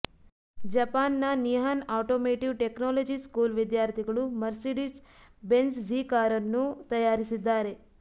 Japan ನ Nihon Automotive Technology School ವಿದ್ಯಾರ್ಥಿಗಳು Mercedes Benz G ಕಾರನ್ನು ತಯಾರಿಸಿದ್ದಾರೆ